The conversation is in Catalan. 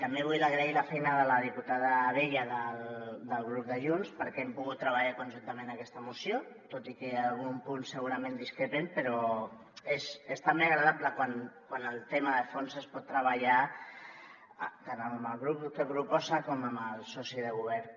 també vull agrair la feina de la diputada abella del grup de junts perquè hem pogut treballar conjuntament en aquesta moció tot i que en algun punt segurament discrepem però és també agradable quan el tema de fons es pot treballar tant amb el grup que ho proposa com amb el soci de govern